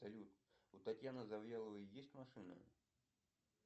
салют у татьяны завьяловой есть машина